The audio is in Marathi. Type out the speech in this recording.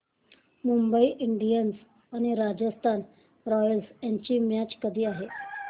मुंबई इंडियन्स आणि राजस्थान रॉयल्स यांची मॅच कधी आहे